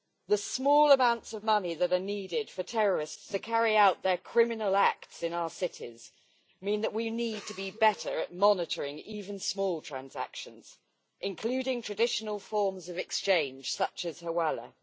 The small amounts of money that are needed for terrorists to carry out their criminal acts in our cities mean that we need to be better at monitoring even small transactions, including traditional forms of exchange, such as hawala.